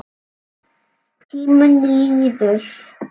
Hvaðan á mig stóð veðrið.